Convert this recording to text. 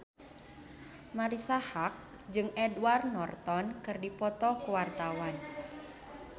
Marisa Haque jeung Edward Norton keur dipoto ku wartawan